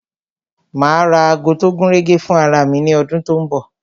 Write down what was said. Ma ra ago tó gúnrégé fún ara mi ní ọdún tó ń bọ̀